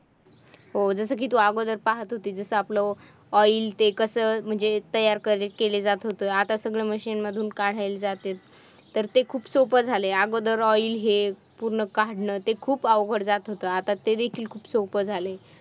हो जसं कि तू अगोदर पाहत होती जसा आपलं oil ते कसं म्हणजे तयार केलं जात होतं? आता सगळं machine मधून काढायला जाते तर ते खूप सोप्प झालंय. अगोदर oil हे पूर्ण काढणं ते खूप अवघड जात होतं आत्ता ते देखील सोपं झालंय.